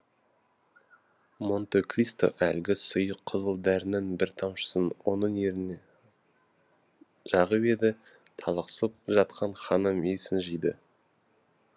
монте кристо әлгі сұйық қызыл дәрінің бір тамшысын оның ерніне жағып еді талықсып жатқан ханым есін жиды